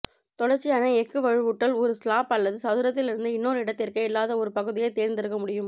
தொடர்ச்சியான எஃகு வலுவூட்டல் ஒரு ஸ்லாப் அல்லது சதுரத்திலிருந்து இன்னொரு இடத்திற்கு இல்லாத ஒரு பகுதியைத் தேர்ந்தெடுக்க முக்கியம்